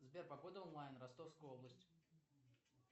сбер погода онлайн ростовская область